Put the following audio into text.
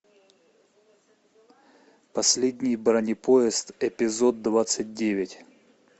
последний бронепоезд эпизод двадцать девять